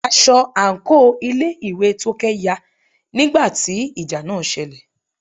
aṣọ àńkò ilé ìwé Tókẹ́ ya nígbà tí ìjà náà selẹ̀.